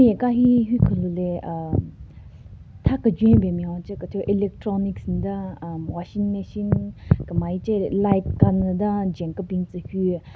Hika hi hyu kelu le umm tha kejwen ben nme hon che kethyu electronics den umm washing machine kam ai che light kanyü den jwen kebin tsü hyu.